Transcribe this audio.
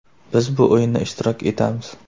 Biz bu o‘yinda ishtirok etamiz.